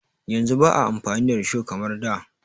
Yanzu ba a amfani da risho kamar da.